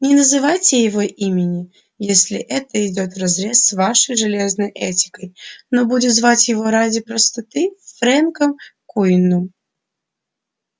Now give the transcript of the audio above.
не называйте его имени если это идёт вразрез с вашей железной этикой но будем звать его ради простоты фрэнком куинном